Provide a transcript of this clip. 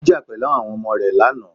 Ó jà pẹ̀lú àwọn ọmọ rẹ lánàá.